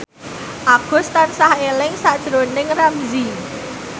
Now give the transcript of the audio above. Agus tansah eling sakjroning Ramzy